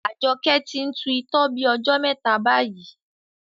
Ajoke ti n tu itọ́ bí ojó mẹta bayi